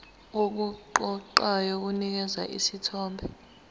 okuqoqayo kunikeza isithombe